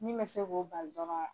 Min bɛ se k'ɔ bali dɔrɔn